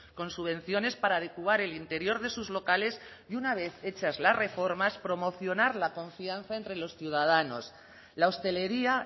con subvenciones para adecuar el interior de sus locales y una vez hechas las reformas promocionar la confianza entre los ciudadanos la hostelería